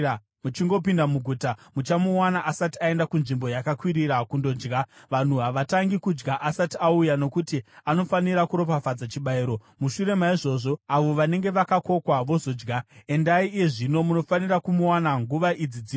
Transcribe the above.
Muchingopinda muguta muchamuwana asati aenda kunzvimbo yakakwirira kundodya. Vanhu havatangi kudya asati auya, nokuti anofanira kuropafadza chibayiro; mushure maizvozvo, avo vanenge vakakokwa vozodya. Endai iye zvino; munofanira kumuwana nguva idzo dzino.”